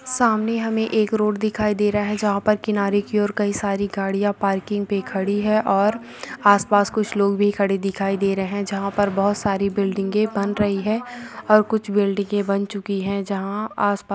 सामने हमें एक रोड दिखाई दे रहा है जहाँ पर किनारे के और कई सारे गाड़ियां पार्किंग पे खड़ी है और आस पास कुछ लोग भी खड़े दिखाई दे रहे है जहाँ पर बहुत सारे बिल्डिंगे बन रही है और कुछ बिल्डिंगे बन चुकी है जहाँ आस पास--